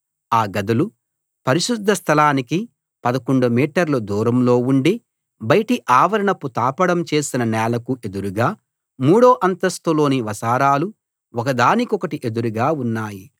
ఆ గదులు పరిశుద్ధ స్థలానికి 11 మీటర్లు దూరంలో ఉండి బయటి ఆవరణపు తాపడం చేసిన నేలకు ఎదురుగా మూడో అంతస్థులోని వసారాలు ఒకదాని కొకటి ఎదురుగా ఉన్నాయి